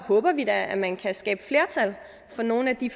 håber vi da at man kan skabe flertal for nogle af de